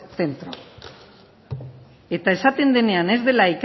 centro eta esaten denean ez dela